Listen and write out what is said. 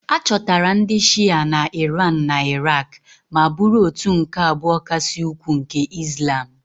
A chọtara ndị Shịa na Iran na Iraq ma bụrụ òtù nke abụọ kasị ukwuu nke Izlam